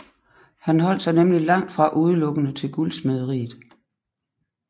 Han holdt sig nemlig langtfra udelukkende til guldsmederiet